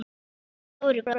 Óli var stóri bróðir.